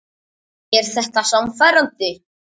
Er þetta sannfærandi?